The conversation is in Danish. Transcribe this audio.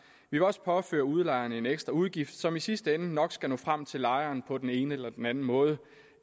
vi vil også påføre udlejeren en ekstra udgift som i sidste ende nok skal nå frem til lejeren på den ene eller den anden måde